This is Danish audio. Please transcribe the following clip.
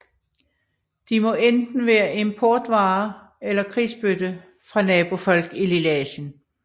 De må enten være importvare eller krigsbytte fra nabofolk i Lilleasien